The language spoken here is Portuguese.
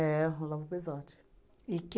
Olavo Pezzotti. E